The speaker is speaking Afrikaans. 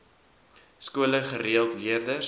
skole gereeld leerders